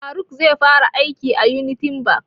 Faruk zai fara aiki a Unity bank